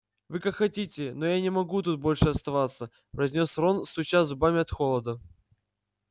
вы как хотите но я не могу тут больше оставаться произнёс рон стуча зубами от холода